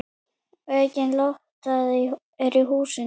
Aukin lofthæð er í húsinu.